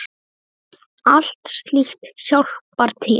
Allt slíkt hjálpar til.